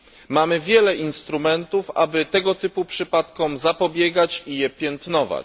Mamy wiele instrumentów, aby tego typu przypadkom zapobiegać i je piętnować.